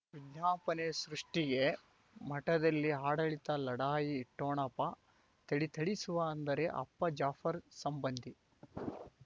ವಿಜ್ಞಾಪನೆ ಸೃಷ್ಟಿಗೆ ಮಠದಲ್ಲಿ ಆಡಳಿತ ಲಢಾಯಿ ಠೊಣಪ ಥಳಿ ಥಳಿಸುವ ಅಂದರೆ ಅಪ್ಪ ಜಾಫರ್ ಸಂಬಂಧಿ